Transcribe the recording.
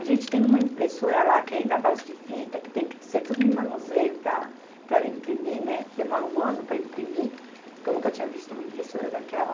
A gente tem uma impressora lá que ainda é a base de fita, que tem que ser tudo no manuseio para, para ela imprimir, né, demora um ano para imprimir, que eu nunca tinha visto uma impressora daquela.